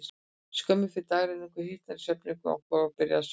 Skömmu fyrir dagrenningu hitnaði í svefnherbergi okkar, og ég byrjaði að svitna.